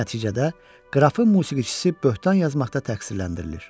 Nəticədə qrafın musiqiçisi böhtan yazmaqda təqsirləndirilir.